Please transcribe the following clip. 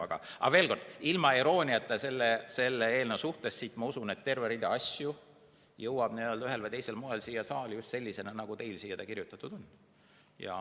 Aga veel kord, ilma irooniata eelnõu suhtes, ma usun, et terve rida asju jõuab ühel või teisel moel siia saali just sellisena, nagu teil siia kirjutatud on.